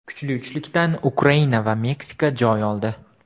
Kuchli uchlikdan Ukraina va Meksika joy oldi.